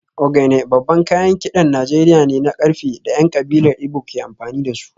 Ogene babban kayan kidan Najeriya ne na karfe da ‘yan kabilar Igbo ke amfani da su